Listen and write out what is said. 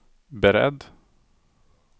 beredd